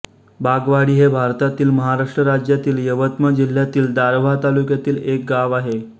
बागवाडी हे भारतातील महाराष्ट्र राज्यातील यवतमाळ जिल्ह्यातील दारव्हा तालुक्यातील एक गाव आहे